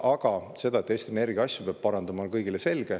Aga see, et Eesti Energia asju peab parandama, on kõigile selge.